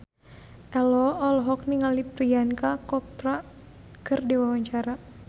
Ello olohok ningali Priyanka Chopra keur diwawancara